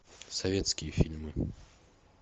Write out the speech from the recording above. советские фильмы